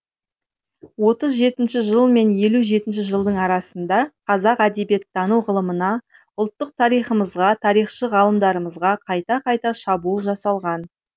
отыз жетінші жыл мен елу жетінші жылдың арасында қазақ әдебиеттану ғылымына ұлттық тарихымызға тарихшы ғалымдарымызға қайта қайта шабуыл жасалған